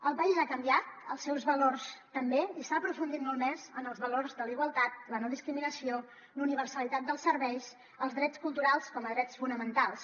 el país ha canviat els seus valors també i s’ha aprofundit molt més en els valors de la igualtat la no discriminació la universalitat dels serveis els drets culturals com a drets fonamentals